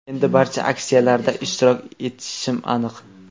Endi barcha aksiyalarda ishtirok etishim aniq.